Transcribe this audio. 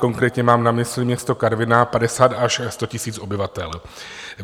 Konkrétně mám na mysli město Karviná, 50 až 100 tisíc obyvatel.